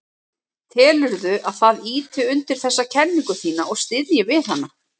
Telurðu að það ýti undir þessa kenningu þína og styðji við hana?